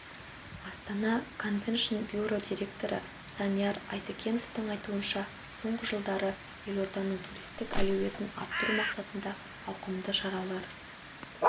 астана конвеншн бюро директоры санияр айтакеновтің айтуынша соңғы жылдары елорданың туристік әлеуетін арттыру мақсатында ауқымды шаралар